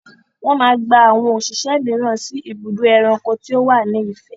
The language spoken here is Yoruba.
Wọ́n máa gba àwọn òṣìṣẹ́ mìíràn sí ibùdó ẹranko tí ó wà ní Ifẹ̀.